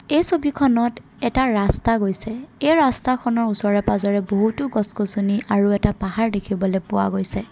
এই ছবিখনত এটা ৰাস্তা গৈছে এই ৰাস্তাখনৰ ওচৰে পাজৰে বহুতো গছ-গছনি আৰু এটা পাহাৰ দেখিবলৈ পোৱা গৈছে।